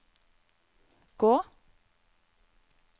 gå